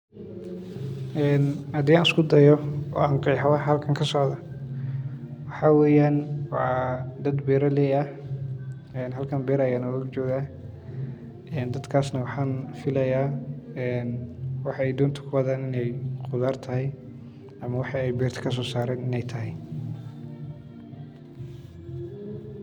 Markaad qaadido xeerarka kalluumeysiga, waxaad ogaataa in kalluumeysigu uu yahay fannaano qurux badan oo ay ku lifaaqmayn daryeel iyo samir, waayo waxaad u baahan tahay inaad si taxadar leh u isticmaasho qalabka kalluumeysiga sida wabiyada, shaandhaynta, iyo xoogaa kalluunka ah, taas oo lagu hubinayo inaadan dhibin deegaanka iyo noocyada kalluunka, sidaas darteed waa inaad doorataa meelaha saxda ah ee kalluumeysiga ee ay ku badan yihiin kalluunka iyo biyaha nadiifka ah, sidoo kale waa inaad ka fiirsataa xilliga kalluumeysiga iyo cimilada.